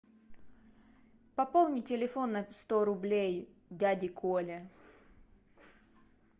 пополни телефон на сто рублей дяде коле